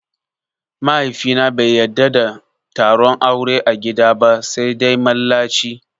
Mahaifina bai yadda da taron aure a gida ba sai dai mallaci